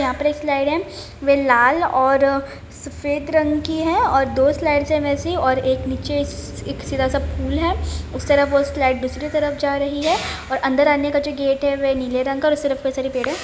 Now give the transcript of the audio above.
यहाँ पर एक स्लाइड है वे लाल और सफेद रंग की है और दो स्लाइड्स हैं वैसी और एक नीचे एक सीधा सा एक पुल है | उस तरफ वो स्लाईडस दूसरे तरफ जा रही है और अंदर आने का जो गेट है वे नीले रंग का है और पेड़ है।